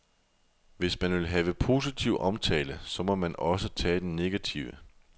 Hvis man vil have positiv omtale, så må man osse tage den negative.